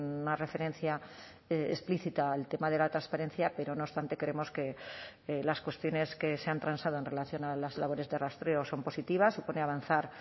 una referencia explícita al tema de la transparencia pero no obstante creemos que las cuestiones que se han transado en relación a las labores de rastreo son positivas supone avanzar